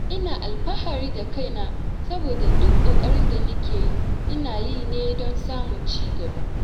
Ina alfahari da kaina saboda duk ƙoƙarin da nake yi, ina yi ne don samun cigaba.